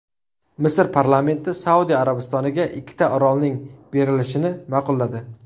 Misr parlamenti Saudiya Arabistoniga ikkita orolning berilishini ma’qulladi.